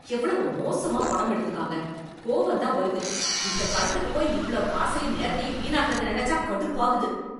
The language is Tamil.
எவ்வளவு மோசமா படம் எடுத்திருக்காங்க, கோவம் தான் வருது, இந்த படத்துக்கு போய் இவ்ளோ காசையும் நேரத்தையும் வீணாக்குனத நினைச்சா கடுப்பாகுது.